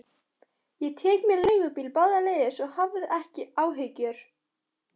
Ég tek mér leigubíl báðar leiðir, svo hafðu ekki áhyggjur.